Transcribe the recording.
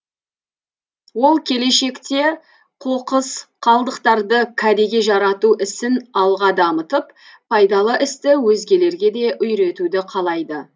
ол келешекте қоқыс қалдықтарды кәдеге жарату ісін алға дамытып пайдалы істі өзгелерге де үйретуді қалайды